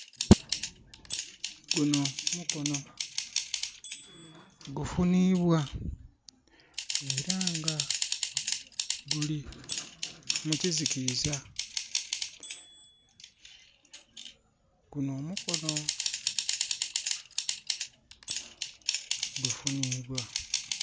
Guno mukono gufunibwa era nga guli mukizikiza. Guno mukono gufunibwa